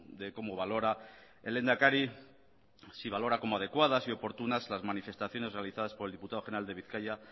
de cómo valora el lehendakari si valora como adecuadas y oportunas las manifestaciones realizadas por el diputado general de bizkaia